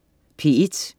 P1: